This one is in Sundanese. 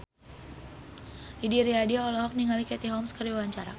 Didi Riyadi olohok ningali Katie Holmes keur diwawancara